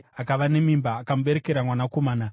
akava nemimba akamuberekera mwanakomana.